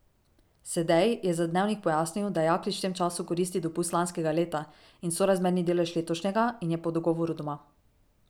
Sedej je za Dnevnik pojasnil, da Jaklič v tem času koristi dopust lanskega leta in sorazmerni delež letošnjega in je po dogovoru doma.